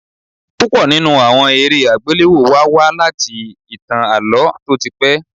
Púpọ̀ nínú àwọn eré àgbéléwò wa wá láti ìtàn Àlọ́ tó ti pé.